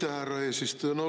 Aitäh, härra eesistuja!